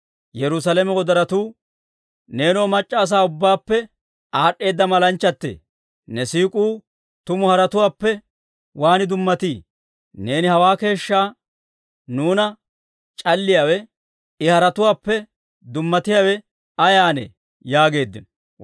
Neenoo, mac'c'a asaa ubbaappe aad'd'eeda malanchchatee! Ne siik'uu tumu haratuwaappe waan dummatii? Neeni hawaa keeshshaa nuuna c'alliyaawe, I haratuwaappe dummatiyaawe ayaanee? yaageeddino.